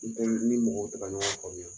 I tɛ ni i ni mɔgɔw tɛ kaɲɔgɔn famuya